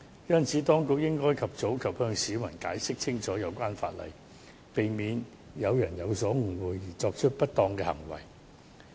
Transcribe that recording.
因此，當局應該及早向市民解釋清楚有關法例，避免有人有所誤會，而作出不當行為。